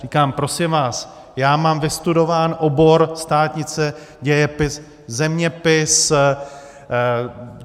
Říkám: Prosím vás, já mám vystudován obor, státnice, dějepis, zeměpis.